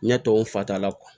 Ɲɛ tɔw fata la